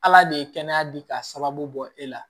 Ala de ye kɛnɛya di ka sababu bɔ e la